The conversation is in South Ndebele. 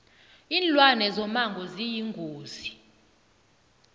linlwane zomango ziyingozi